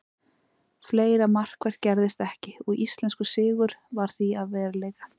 Fleira markvert gerðist ekki og íslenskur sigur varð því að veruleika.